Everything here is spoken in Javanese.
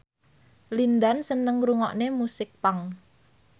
Lin Dan seneng ngrungokne musik punk